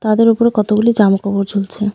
তাদের ওপরে কতগুলি জামাকাপড় ঝুলছে.